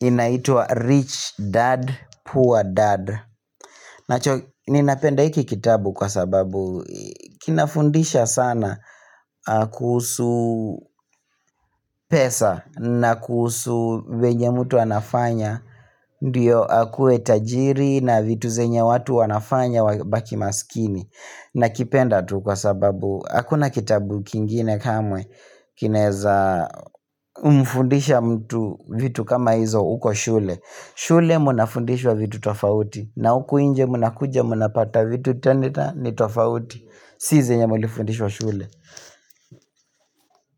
Inaitwa Rich Dad, Poor Dad. Nacho ninapenda hiki kitabu kwa sababu kinafundisha sana kuhusu pesa na kuhusu venye mtu anafanya. Ndiyo akue tajiri na vitu zenye watu wanafanya wabaki maskini. Na kipenda tu kwa sababu, hakuna kitabu kingine kamwe, kineza umfundisha mtu vitu kama hizo uko shule. Shule mna fundishwa vitu tofauti, na uku inje mna kuja mna pata vitu tena ni tofauti. Si zenye mlifundishwa shule.